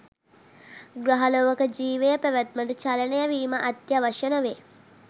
ග්‍රහලොවක ජීවය පැවැත්මට චලනය වීම අත්‍යාවශ්‍ය නොවේ.